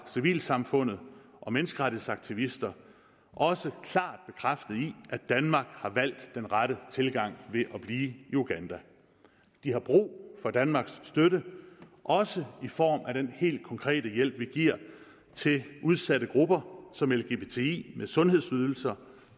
civilsamfundet og menneskerettighedsaktivister også klart bekræftet i at danmark har valgt den rette tilgang ved at blive i uganda de har brug for danmarks støtte også i form af den helt konkrete hjælp vi giver til udsatte grupper som lgbti med sundhedsydelser